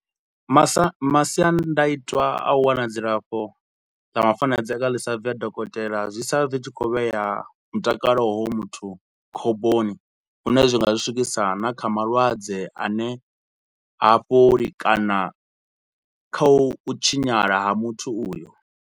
Masa masiandoitwa a u wana dzilafho ḽa mafanedza kana ḽi sa bvi ha dokotela, zwi sala zwi tshi khou vhea mutakalo wa hoyo muthu khomboni. Lune zwi nga ri swikisa na kha malwadze a ne ha fholi kana kha u tshinyala ha muthu uyo.